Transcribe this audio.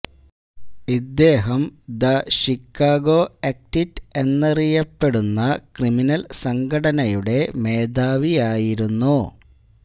ഇദ്ദേഹം the Chicago എക്റ്റിറ്റ് എന്നറിയപ്പെടുന്ന ക്രിമിനൽ സംഘടനയുടെ മേധാവിയായിരുന്നു